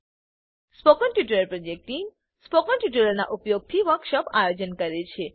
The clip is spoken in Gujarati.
સ્પોકન ટ્યુટોરીયલ પ્રોજેક્ટ ટીમ160 સ્પોકન ટ્યુટોરીયલોનાં ઉપયોગથી વર્કશોપોનું આયોજન કરે છે